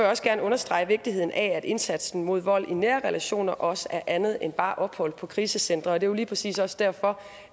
også gerne understrege vigtigheden af at indsatsen mod vold i nære relationer også er andet end bare ophold på krisecentre og det er jo lige præcis også derfor